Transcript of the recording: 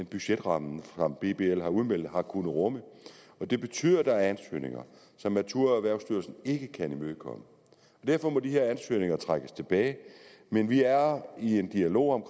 budgetramme der er udmeldt har kunnet rumme og det betyder at der er ansøgninger som naturerhvervsstyrelsen ikke kan imødekomme og derfor må de her ansøgninger trækkes tilbage men vi er i en dialog om